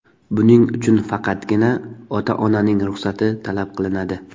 Buning uchun faqatgina ota-onaning ruxsati talab qilinadi.